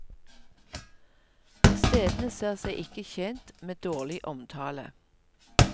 Stedene ser seg ikke tjent med dårlig omtale.